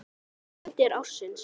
Myndir ársins